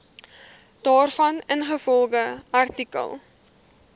daarvan ingevolge artikel